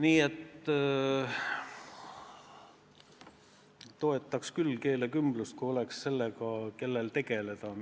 Jah, ma toetaks küll keelekümblust, kui oleks, kes sellega tegeleks.